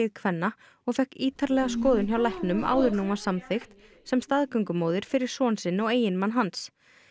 kvenna og fékk ítarlega skoðun hjá læknum áður en hún var samþykkt sem staðgöngumóðir fyrir son sinn og eiginmann hans